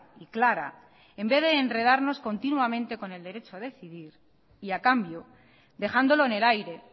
y clara en vez de enredarnos continuamente con el derecho a decidir y a cambio dejándolo en el aire